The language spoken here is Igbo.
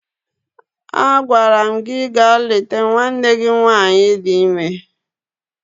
Agwara m gi gaa leta nwanne gi nwaanyị di ime!